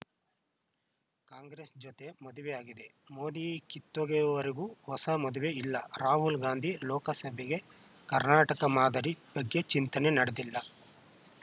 ಕಾಂಗ್ರೆಸ್‌ ಜೊತೆ ಮದುವೆ ಆಗಿದೆ ಮೋದಿ ಕಿತ್ತೊಗೆವವರೆಗೂ ಹೊಸ ಮದುವೆ ಇಲ್ಲ ರಾಹುಲ್‌ ಗಾಂಧಿ ಲೋಕಸಭೆಗೆ ಕರ್ನಾಟಕ ಮಾದರಿ ಬಗ್ಗೆ ಚಿಂತನೆ ನಡೆದಿಲ್ಲ